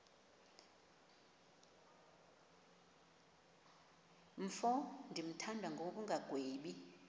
mfo ndimthanda ngokungagwebi